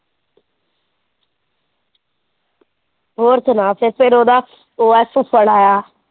ਹੋਰ ਸੁਣਾ ਫਿਰ ਉਹਦਾ ਫੁੱਫੜ ਆਇਆ।